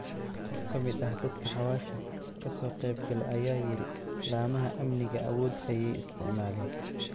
Qof kamid ah dadka xawasha kasoqebkale aya yiri lamaha aamniga aawodh ayay isticmaleen.